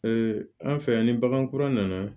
an fɛ yan ni bagankura nana